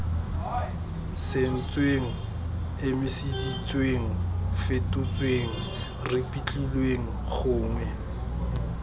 sentsweng emiseditsweng fetotsweng ripitlilweng gongwe